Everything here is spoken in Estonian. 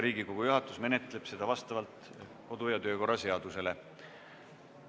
Riigikogu juhatus menetleb seda vastavalt kodu- ja töökorra seadusele.